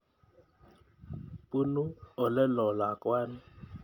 Punu oleloo lakwani.